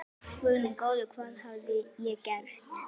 Guð minn góður, hvað hafði ég gert?